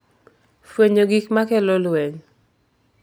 Fwenyo gik ma kelo lweny